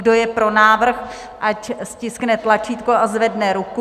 Kdo je pro návrh, ať stiskne tlačítko a zvedne ruku.